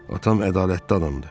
Atam ədalətli adamdır.